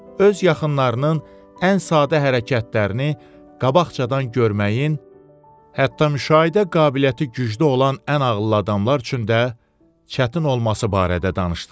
Öz yaxınlarının ən sadə hərəkətlərini qabaqcadan görməyin, hətta müşahidə qabiliyyəti güclü olan ən ağıllı adamlar üçün də çətin olması barədə danışdılar.